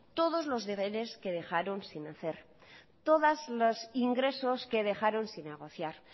todos los deberes que dejaron sin hacer todos los ingresos que dejaron sin negociar